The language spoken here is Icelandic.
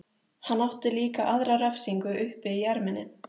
Hann átti líka aðra refsingu uppi í erminni.